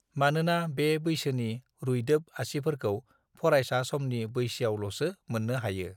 मानोना बे बैसोनि रुइदोब आसिफोरखौ फरायसा समनि बैसाआवलसो मोननो हायो